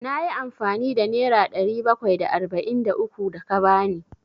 Na yi amfani da nera ɗari bakwai da arba'in da uku da ka ba ni.